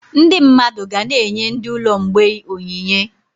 Ndị mmadụ ga-na enye ndị ụlọ mgbei onyinye